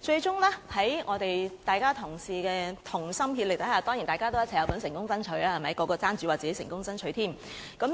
最終，在各同事同心協力下——當然大家都有份成功爭取，人人都爭着說自己成功爭取——我